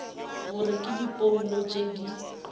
gore ke diphoulo tše di